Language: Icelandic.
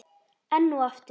Enn og aftur?